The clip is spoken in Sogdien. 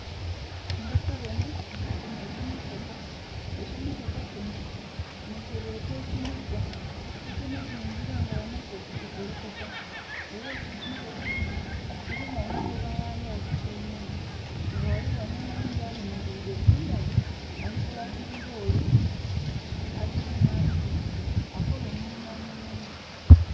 Ndhi kubona kino ekimotoka, ekimotoka kino nhi kyebeeta ekinhiga, ekinhiga engira nga bamaze okulikolokota. Era ekimotoka kino kilimu omugoba ghayo akityaimemu. Nga ghaligho n'oghundhi ayemeleire kumbali ali kulagilira ole akirimu ali kuvuga akole omulimu omulungi.